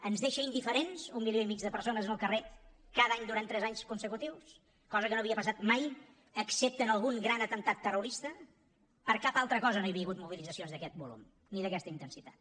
ens deixa indiferents un milió i mig de persones en el carrer cada any durant tres anys consecutius cosa que no havia passat mai excepte en algun gran atemptat terrorista per cap altra cosa no hi havia hagut mobilitzacions d’aquest volum ni d’aquesta intensitat